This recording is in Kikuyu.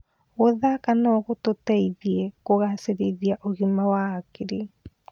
Gũthaka no gũteithie kũgacĩrithia ũgima wa hakiri.